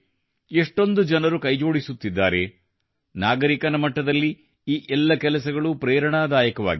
ಎಷ್ಟೊಂದು ಜನರು ಕೈಜೋಡಿಸುತ್ತಿದ್ದಾರೆ ನಾಗರಿಕನ ಮಟ್ಟದಲ್ಲಿ ಈ ಎಲ್ಲ ಕೆಲಸಗಳು ಪ್ರೇರಣಾದಾಯಕವಾಗಿವೆ